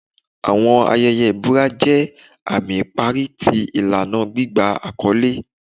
Awọn ayẹyẹ ibura jẹ ami ipari ti ilana gbigba akọle